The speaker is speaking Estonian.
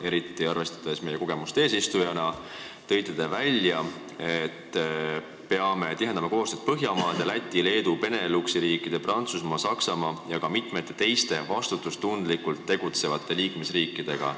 Eriti arvestades meie kogemust eesistujana tõite välja, et peame tihendama koostööd Põhjamaade, Läti, Leedu, Beneluxi riikide, Prantsusmaa, Saksamaa ja ka mitme teise vastutustundlikult tegutseva liikmesriigiga.